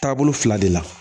Taabolo fila de la